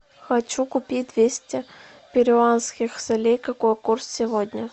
хочу купить двести перуанских солей какой курс сегодня